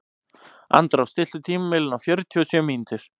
Andrá, stilltu tímamælinn á fjörutíu og sjö mínútur.